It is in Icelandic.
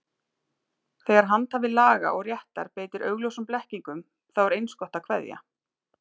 Þegar handhafi laga og réttar beitir augljósum blekkingum, þá er eins gott að kveðja.